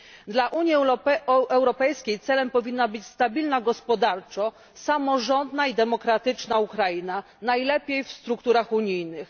Dla Unii Europejskiej celem powinna być stabilna gospodarczo, samorządna i demokratyczna Ukraina, najlepiej w strukturach unijnych.